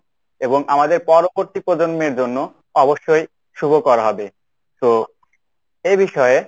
এবং আমাদের পরবর্তী প্রজন্মের জন্য অবশ্যই শুভকর হবে। তো এ বিষয়ে,